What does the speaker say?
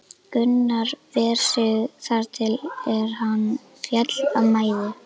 Gunnar ver sig þar til er hann féll af mæði.